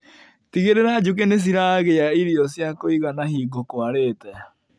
Tigĩrĩra njũkĩ nĩciragĩa irio cia kũigana hĩngo kwarĩte.